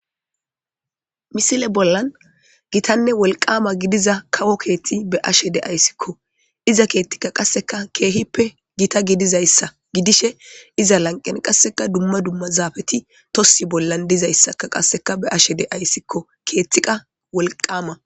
Misile bollan gitanne wolqama gidiza kawo keethi be7ashe de7iskko ,iza keeththi keehippe gita gidizayssa ,iza lanqen dumma dumma barzaapeti tossi bolla dizayssa be7ashe de7ayssikko.